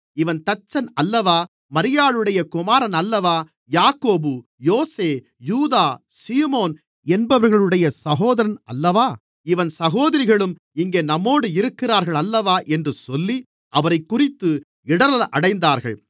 இவன் தச்சன் அல்லவா மரியாளுடைய குமாரன் அல்லவா யாக்கோபு யோசே யூதா சீமோன் என்பவர்களுடைய சகோதரன் அல்லவா இவன் சகோதரிகளும் இங்கே நம்மோடு இருக்கிறார்கள் அல்லவா என்று சொல்லி அவரைக்குறித்து இடறல் அடைந்தார்கள்